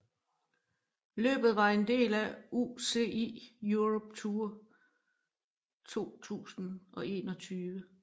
Løbet var en del af UCI Europe Tour 2021